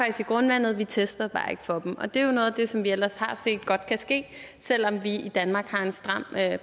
i grundvandet vi testede bare ikke for dem det er jo noget af det som vi ellers har set godt kan ske selv om vi i danmark har en stram